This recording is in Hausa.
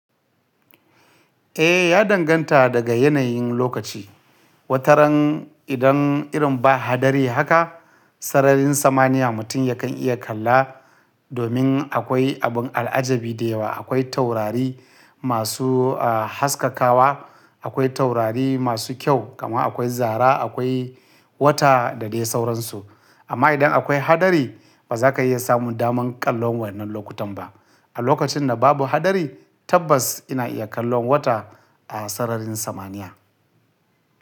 Eh, ya danganta daga yanayin lokaci. Wataran idan irin ba haɗari haka, sararin samaniya mutum ya kan iya kalla domin akwai abun al'ajabi da yawa. Akwai taurari masu haskakawa, akwai taurari masu kyau, kam akwai zara, akwai wata da dai sauransu. Amma idan akwai haɗari ba za ka iya samun daman kallon wannan lokutan ba. A lokacin da babu haɗari tabbas ina iya kallon wata a sararin samaniya.